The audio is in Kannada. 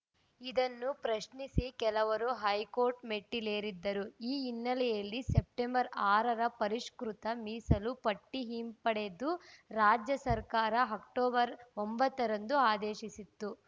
ಇದನ್ನು ಪ್ರಶ್ನಿಸಿ ಕೆಲವರು ಹೈಕೋರ್ಟ್‌ ಮೆಟ್ಟಿಲೇರಿದ್ದರು ಈ ಹಿನ್ನೆಲೆಯಲ್ಲಿ ಸೆಪ್ಟೆಂಬರ್ ಆರರ ಪರಿಷ್ಕೃತ ಮೀಸಲು ಪಟ್ಟಿಹಿಂಪಡೆದು ರಾಜ್ಯ ಸರ್ಕಾರ ಅಕ್ಟೋಬರ್ ಒಂಬತ್ತರಂದು ಆದೇಶಿಸಿತ್ತು